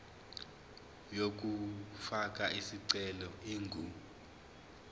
yokufaka isicelo ingu